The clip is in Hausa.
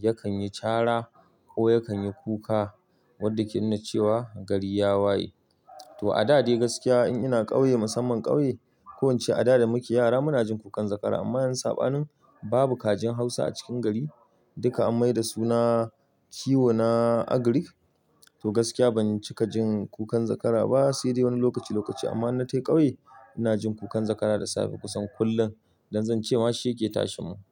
yakan yi cara ko yakan yi kuka wadda ke nuna cewa gari ya waye. To a da dai gaskiya in ina ƙauye, musamman ƙauye, ko ince a da da muke yara muna jin kukan zakara amma yanzu sabanin babu kajin Hausa a cikin gari duka an mai da su na kiwo na agric. To gaskiya ban cika jin kukan zakara ba sai dai wani lokaci, lokaci amma inna tai ƙauye ina jin kukan zakara da safe kusan kullum don zan ce ma shi yake tashe mu.